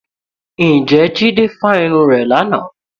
Ǹjẹ́ Jídé fa irun rẹ̀ lánàá?